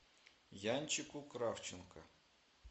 янчику кравченко